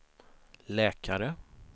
läkare